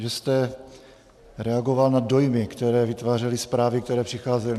Vy jste reagoval na dojmy, které vytvářely zprávy, které přicházely.